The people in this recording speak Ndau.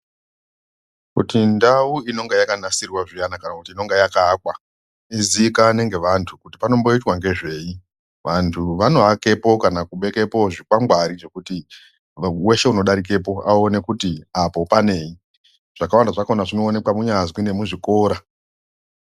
Kuti ndau inenge yakanasirwa zviyani kana kuti inenge yakaakwa iziikanwe ngevantu kuti panomboitwa ngezvei vantu vanoakepo kana kubekepo zvikwangwari zvekuti weshe unidarikepo aone kuti apo panei zvakawanda zvakona zvinoonekwa kunyazwi nemuzvikora.